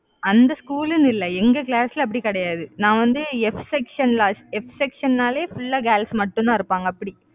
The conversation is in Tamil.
அந்த school னு இல்லை எங்க class ல, அப்படி கிடையாது. நான் வந்து Fsection lastFsection னாளே full ஆ girls மட்டும்தான் இருப்பாங்க, அப்படி